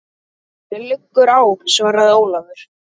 Mér liggur á, svaraði Ólafur.